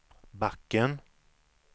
backen